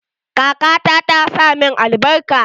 Kaka ta ta sa min albarka.